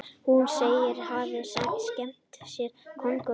Hún segist hafa skemmt sér konunglega